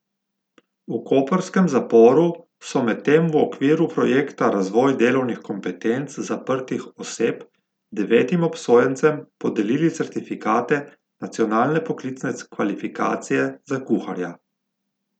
V koprskem zaporu so medtem v okviru projekta Razvoj delovnih kompetenc zaprtih oseb devetim obsojencem podelili certifikate nacionalne poklicne kvalifikacije za kuharja.